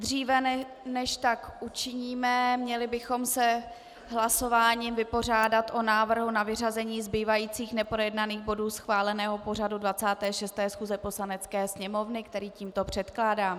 Dříve, než tak učiníme, měli bychom se hlasováním vypořádat s návrhem na vyřazení zbývajících neprojednaných bodů schváleného pořadu 26. schůze Poslanecké sněmovny, který tímto předkládám.